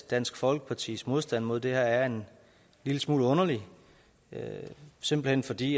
dansk folkepartis modstand mod det her er en lille smule underlig simpelt hen fordi